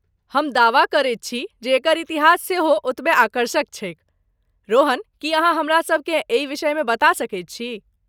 हम दावा करैत छी जे एकर इतिहास सेहो ओतबे आकर्षक छैक , रोहन, की अहाँ हमरासभ केँ एहि विषयमे बता सकैत छी?